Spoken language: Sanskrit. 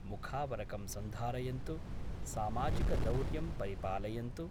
मुखावरकं सन्धारयन्तु सामाजिकदौर्यं परिपालयन्तु,